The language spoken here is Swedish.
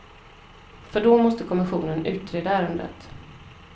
För då måste kommissionen utreda ärendet.